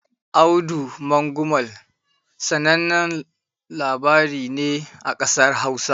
"Audu Mangumal" sanannen labari ne a ƙasar Hausa.